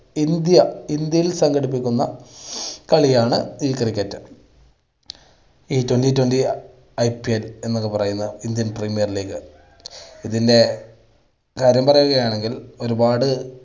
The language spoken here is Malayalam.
ഇന്ത്യ ഇന്ത്യയിൽ സംഘടിപ്പിക്കുന്ന കളിയാണ് ഈ cricket. ഈ twenty twentyIPL എന്നൊക്കെ പറയുന്ന ഇന്ത്യൻ പ്രീമിയർ ലീഗ് ഇതിൻ്റെ കാര്യം പറയുകയാണെങ്കിൽ ഒരുപാട്